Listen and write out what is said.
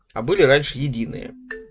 а были раньше единые